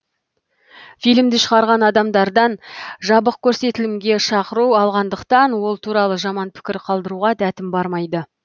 фильмді шығарған адамдардан жабық көрсетілімге шақыру алғандықтан ол туралы жаман пікір қалдыруға дәтім бармайды